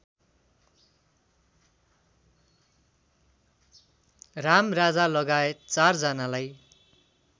रामराजालगायत ४ जनालाई